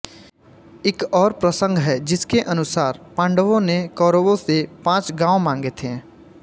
एक और प्रसंग है जिसके अनुसार पांडवों ने कौरवों से पांच गांव मांगे थे